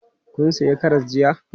Kun sayi karas jiya?